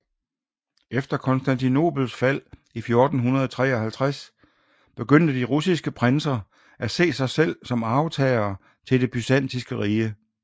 Efter Konstantinopels fald i 1453 begyndte de russiske prinser at se sig selv som arvtagere til Det Byzantinske Rige